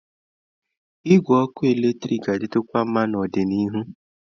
Igwe ọkụ eletrik ga-adị tụkwa nma n'ọdịnihu.